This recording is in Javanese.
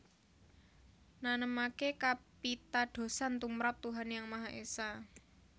Nanemaké kapitadosan tumrap Tuhan Yang Maha Esa